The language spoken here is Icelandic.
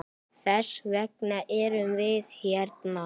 Þess vegna erum við hérna!